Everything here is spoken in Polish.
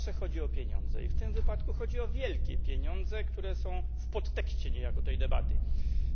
Pani Przewodnicząca! Jeżeli nie bardzo wiemy o co chodzi, to prawie zawsze chodzi o pieniądze, i w tym wypadku chodzi o wielkie pieniądze, które są w podtekście niejako tej debaty.